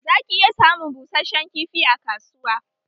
Za ki iya samun busheshen kifi a kasuwa